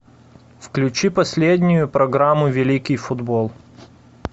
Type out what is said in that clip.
включи последнюю программу великий футбол